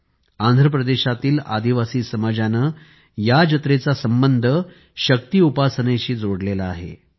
आणि आंध्रप्रदेशातील आदिवासी समाजाने या जत्रेचा संबंध शक्ती उपासनेशी जोडलेला आहे